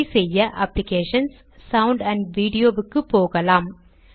இதை செய்ய அப்ளிகேஷன்ஸ் ஜிடி சௌன்ட் அன்ட் விடியோ க்கு போகலாம்